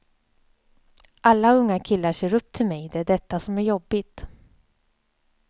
Alla unga killar ser upp till mig, det är detta som är jobbigt.